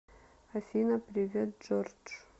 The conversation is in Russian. афина привет джордж